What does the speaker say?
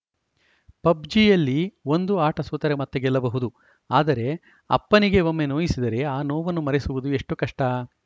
ಪಬ್‌ಜಿಯಲ್ಲಿ ಒಂದು ಆಟ ಸೋತರೆ ಮತ್ತೆ ಗೆಲ್ಲಬಹುದು ಆದರೆ ಅಪ್ಪನಿಗೆ ಒಮ್ಮೆ ನೋಯಿಸಿದರೆ ಆ ನೋವನ್ನು ಮರೆಸುವುದು ಎಷ್ಟುಕಷ್ಟ